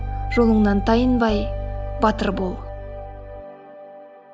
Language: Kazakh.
жолыңнан тайынбай батыр бол